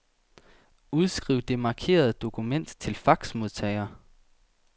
Udskriv det markerede dokument til faxmodtager.